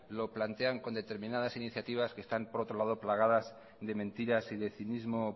lo plantean con determinadas iniciativas que están por otro lado plagadas de mentiras y de cinismo